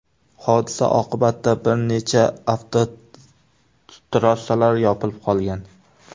Hodisa oqibatida bir necha avtotrassalar yopilib qolgan.